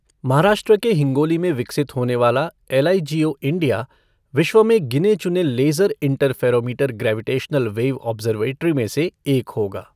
महाराष्ट्र के हिंगोली में विकसित होने वाला एलआईजीओ इंडिया, विश्व में गिने चुने laser interferometer gravitational wave observatory में से एक होगा।